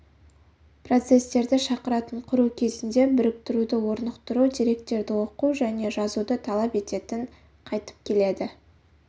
процесстерді шақыратын құру кезінде біріктіруді орнықтыру деректерді оқу және жазуды талап ететін қайтіп келеді